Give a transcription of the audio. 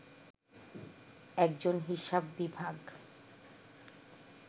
একজন হিসাব বিভাগ